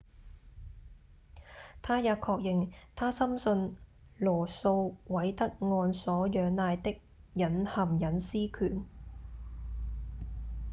他也確認他深信羅訴韋德案所仰賴的隱含隱私權